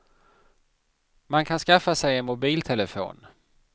Man kan skaffa sig en mobiltelefon.